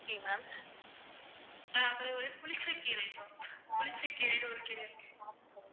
ஆஹ் அப்புறம் வந்து புளிச்சக் கீரை ma'am புளிச்சக்கீரைன்னு ஒரு கீரை இருக்கு